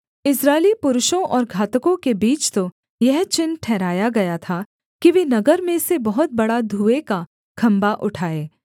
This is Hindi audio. इस्राएली पुरुषों और घातकों के बीच तो यह चिन्ह ठहराया गया था कि वे नगर में से बहुत बड़ा धुएँ का खम्भा उठाए